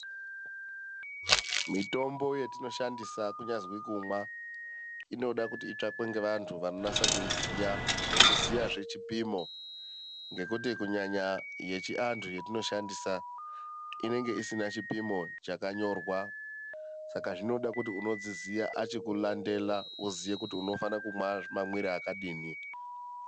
Mitombo yetinoshandisa kunyazwi kumwa, inoda kuti itsakwe ngevantu vanonasa kuiziya nekuziyaze chipimo. Ngekuti kunyanya yechiantu yatoshandisa, inenge isina chipimo chakanyorwa. Saka zvinoda kuti unodziziya achikulandela woziye kuti unofanira kumwa mamwire akadini.